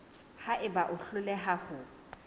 ha eba o hloleha ho